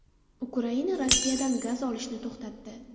Ukraina Rossiyadan gaz olishni to‘xtatdi.